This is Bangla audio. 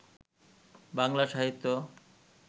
বাংলা সাহিত্য